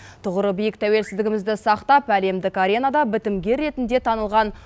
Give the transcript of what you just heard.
тұғыры биік тәуелсіздігімізді сақтап әлемдік аренада бітімгер ретінде танылған